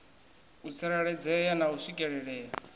u tsireledzea na u swikelelea